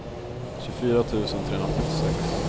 tjugofyra tusen trehundrafyrtiosex